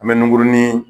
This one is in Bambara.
An bɛ nunguruni